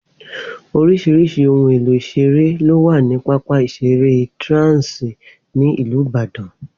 Oríṣiríṣi ohun èlò ìṣeré ló wà ní pápá ìṣeré Trans ní ìlú Ìbàdàn